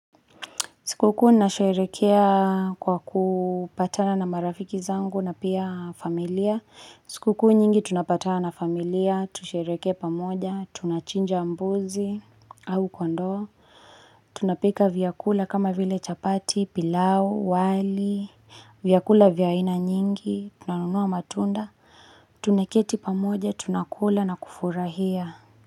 Sikuku nasherekea kwa kupatana na marafiki zangu na pia familia. Sikuku nyingi tunapatana na familia, tusherekea pamoja, tunachinja mbuzi au au ndoo. Tunapika vyakula kama vile chapati, pilau, wali, vyakula vyaina nyingi, tunanunua matunda, tunaketi pamoja, tunakula na kufurahia.